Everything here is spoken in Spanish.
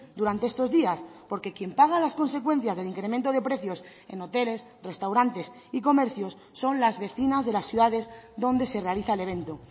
durante estos días porque quien paga las consecuencias del incremento de precios en hoteles restaurantes y comercios son las vecinas de las ciudades donde se realiza el evento